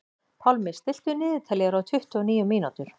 Pálmi, stilltu niðurteljara á tuttugu og níu mínútur.